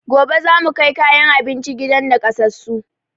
Gobe zamu kai kayan abinci gidan nakasassun